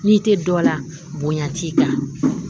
N'i tɛ dɔ la bonya t'i kan